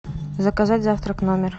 заказать завтрак в номер